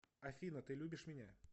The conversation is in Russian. афина ты любишь меня